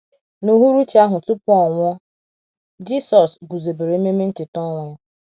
N’UHURUCHI ahụ tupu ọ nwụọ, Jisọs guzobere ememe ncheta ọnwụ ya.